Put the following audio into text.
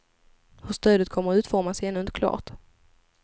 Hur stödet kommer att utformas är ännu inte klart.